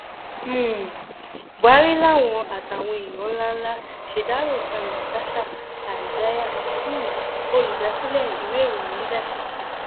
um buhari lawan àtàwọn èèyàn ńlá ńlá ṣèdárò sam natasha isaiah um olùdásílẹ ìwé ìròyìn leadership tó kù